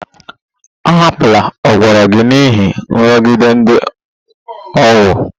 Ahapụla ụkpụrụ gị n'ihi nrụgide ndị ọgbọ!